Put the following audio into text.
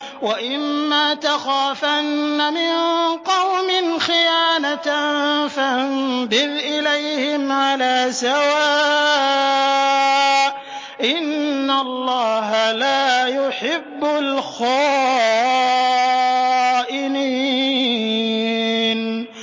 وَإِمَّا تَخَافَنَّ مِن قَوْمٍ خِيَانَةً فَانبِذْ إِلَيْهِمْ عَلَىٰ سَوَاءٍ ۚ إِنَّ اللَّهَ لَا يُحِبُّ الْخَائِنِينَ